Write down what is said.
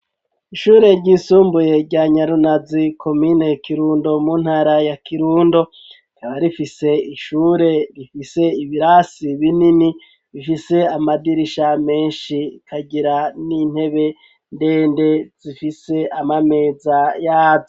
Ishure ry'isumbuye rya Nyarunazi komine Kirundo mu ntara ya Kirundo rikaba rifise ishure rifise ibirasi binini bifise amadirisha meshi ikagira n'intebe ndende zifise amameza yazo.